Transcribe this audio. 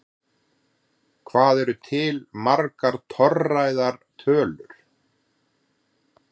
Hvað eru til margar torræðar tölur?